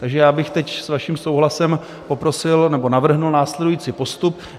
Takže já bych teď s vaším souhlasem poprosil nebo navrhl následující postup.